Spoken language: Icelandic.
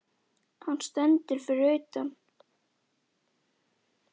Hann stendur fyrir utan.